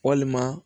Walima